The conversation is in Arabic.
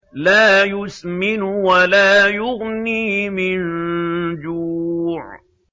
لَّا يُسْمِنُ وَلَا يُغْنِي مِن جُوعٍ